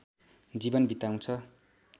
जीवन बिताउँछ